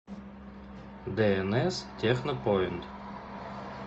днс технопоинт